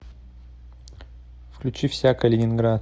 включи всякое ленинград